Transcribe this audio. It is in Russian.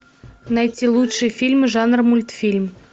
найти лучший фильм жанра мультфильм